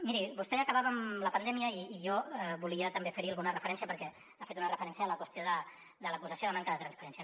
miri vostè acabava amb la pandèmia i jo volia també fer hi alguna referència perquè ha fet una referència a la qüestió de l’acusació de manca de transparència